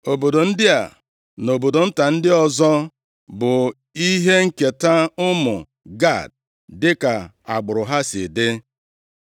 Obodo ndị a na obodo nta ndị ọzọ bụ ihe nketa ụmụ Gad dịka agbụrụ ha si dị.